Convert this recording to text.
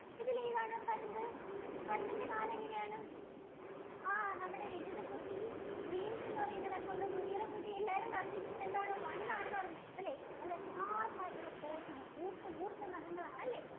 ഇതിൽ ഏതാണ് പരുന്ത് പരുന്തിന്‍റെ കാലു എങ്ങനെ ആണ് ആഹ് നമ്മുടെ രജിത കുട്ടി റീന്‍സ് എന്ന് പറയുന്ന ഒരു account ആണ് മുനീറ കുട്ടി എല്ലാരും പറഞ്ഞിട്ടുണ്ട് one ആണെന്ന് പറഞ്ഞിട്ടുണ്ടല്ലോ നല്ല sharp ആയിട്ടുള്ള claws ആണ് നല്ല കൂർത്ത കൂർത്ത നഖങ്ങൾ ആണല്ലോ?